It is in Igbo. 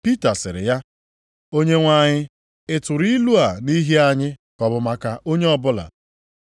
Pita sịrị ya, “Onyenwe anyị, ị tụrụ ilu a nʼihi anyị, ka ọ bụ maka onye ọbụla?”